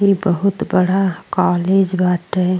इ बहुत बड़ा कॉलेज बाटे।